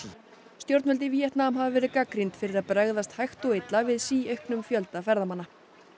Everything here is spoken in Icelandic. stjórnvöld í Víetnam hafa verið gagnrýnd fyrir að bregðast hægt og illa við síauknum fjölda ferðamanna